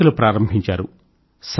పత్రికలు ప్రారంభించారు